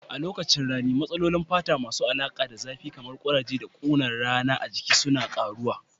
A lokacin rani, matsalolin fata masu alaƙa da zafi kamar kuraje da kunar rana a jiki suna ƙaruwa.